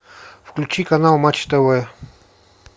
включи канал матч тв